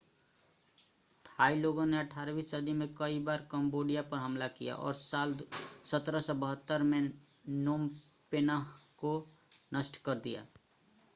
Thai लोगों ने 18वीं सदी में कई बार कंबोडिया पर हमला किया और साल 1772 में नोम पेन्ह को नष्ट कर दिया